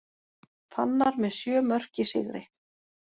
Fannar með sjö mörk í sigri